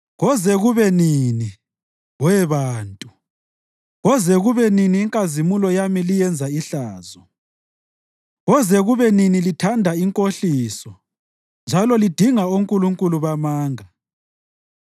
Koze kube nini, we bantu, koze kube nini inkazimulo yami liyenza ihlazo? Koze kube nini lithanda inkohliso njalo lidinga onkulunkulu bamanga?